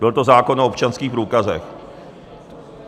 Byl to zákon o občanských průkazech.